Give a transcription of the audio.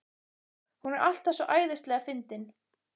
Hún er alltaf svo æðislega fyndin.